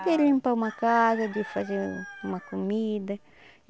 De limpar uma casa, de fazer uma comida.